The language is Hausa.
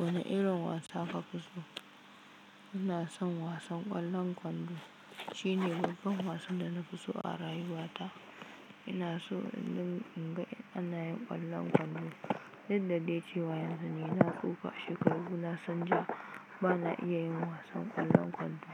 Wani irin wasa ka fi so? Ina son wasan ƙwallon kwando. Shi ne babban wasan da na fi so a rayuwa ta. Ina so in ga ana yin ƙwallon kwando. Yadda dai cewa yanzu ni na tsufa shekaru na sun ja ba na iya yin wasan ƙwallon kwando.